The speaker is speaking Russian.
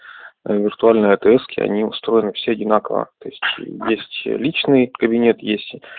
виртуальные отрезки они устроены все одинаково то есть личный кабинет есть